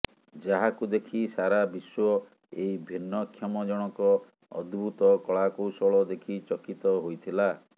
ଯାହାକୁ ଦେଖି ସାରା ବିଶ୍ୱ ଏଇ ଭିନ୍ନକ୍ଷମ ଜଣକ ଅଦ୍ଭୁତ୍ କଳା କୌଶଳ ଦେଖି ଚକିତ ହୋଇଥିଲା